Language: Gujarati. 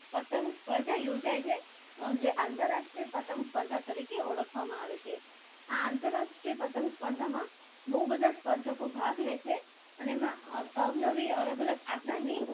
પતંગ સ્પર્ધા યોજાય છે જે આંતરરાષ્ટ્રીય પતંગ સ્પર્ધા તરીકે ઓળખવામાં આવે છે. આ આંતરરાષ્ટ્રીય પતંગ સ્પર્ધામાં બહુ બધા સ્પર્ધકો ભાગ લે છે અને એમનો અર અવનવી અલગ અલગ આકારની પતંગો